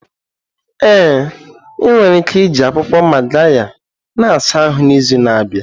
Ee, ị nwere ike iji akwụkwọ Magarya na-asa ahụ n'izu na-abịa.